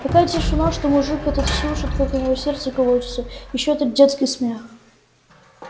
такая тишина что мужик этот слышит как у него сердце колотится и ещё этот детский смех